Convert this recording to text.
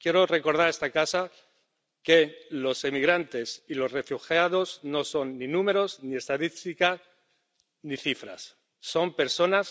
Quiero recordar a esta casa que los emigrantes y los refugiados no son ni números ni estadísticas ni cifras son personas